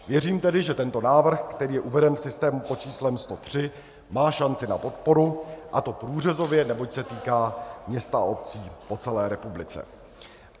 Věřím tedy, že tento návrh, který je uveden v systému pod číslem 103, má šanci na podporu, a to průřezově, neboť se týká měst a obcí po celé republice.